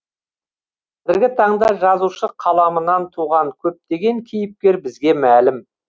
қазіргі таңда жазушы қаламынан туған көптеген кейіпкер бізге мәлім